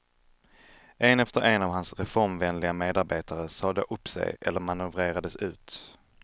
En efter en av hans reformvänliga medarbetare sade då upp sig eller manövrerades ut.